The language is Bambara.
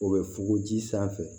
O bɛ fogo ji sanfɛ